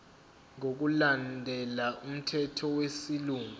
ngokulandela umthetho wesilungu